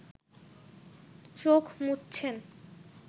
চোখ মুচছেন